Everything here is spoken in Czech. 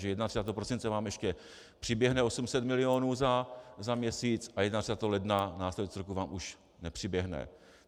Že 31. prosince vám ještě přiběhne 800 milionů za měsíc a 31. ledna následujícího roku vám už nepřiběhne.